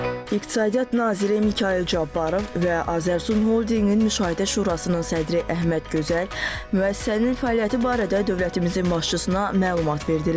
İqtisadiyyat Naziri Mikayıl Cabbarov və Azərsun Holdinqin Müşahidə Şurasının sədri Əhməd Gözəl müəssisənin fəaliyyəti barədə dövlətimizin başçısına məlumat verdilər.